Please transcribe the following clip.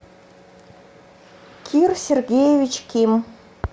кир сергеевич ким